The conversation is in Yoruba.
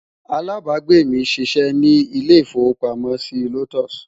alábágbé mí sí ṣé ní ilè ifowo pàmò sí lotus